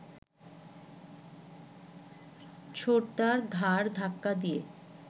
ছোটদার ঘাড় ধাক্কা দিয়ে